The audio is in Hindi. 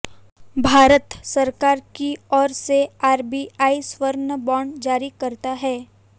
भारत सरकार की ओर से आरबीआई स्वर्ण बॉन्ड जारी करता है